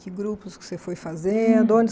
Que grupos que você foi fazendo? Hum. Onde